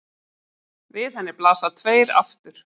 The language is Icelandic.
Við henni blasa tveir aftur